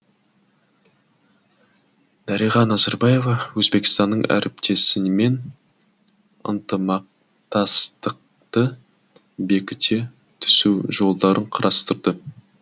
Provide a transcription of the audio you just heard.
дариға назарбаева өзбекстандық әріптесімен ынтымақтастықты бекіте түсу жолдарын қарастырды